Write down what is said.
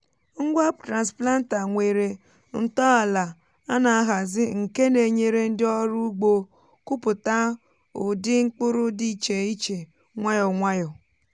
ngwa transplanter nwere ntọala a na-ahazi nke na-enyere ndị ọrụ ugbo kụpụta ụdị mkpụrụ dị iche iche nwayọ nwayọ.